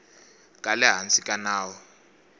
ka le hansi ka nawu